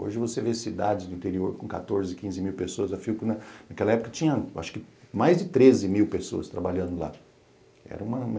Hoje você vê cidades do interior com quatorze, quinze mil pessoas, a Philco naquela época tinha, acho que, mais de treze mil pessoas trabalhando lá. Era uma